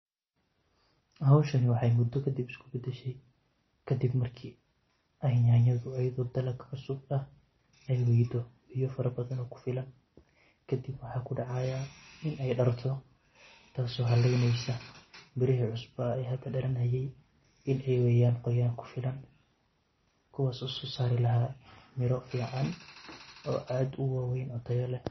Hawshan waxay muddo kadib isu beddeshay, kadib markii ay yanyaadu wali ay dhir dalag cusub ah aay waydo biyo fara badan oo ku filan. Kadib waxa dhacaya in ay dhacdo in aay darto taas oo halaynayso mirihii cusbaa ee hadda oo hada dalanaye in ay waayeen qoyaan ku filan, kuwaas oo soo saari lahaa miro fiican, oo aat u waaweyn, oo tayo leh.